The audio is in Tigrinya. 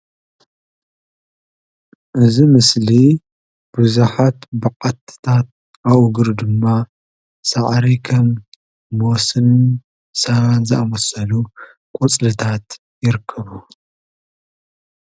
እዚ ምስሊ ቡዘሓት ባዓቲታት ኣብ እግሩ ድማ ሳዕሪ ከም ቦስን ሳባን ዝኣምሰሉ ቆፅልታት ይርከብዎ፡፡